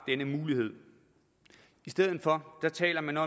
denne mulighed i stedet for taler man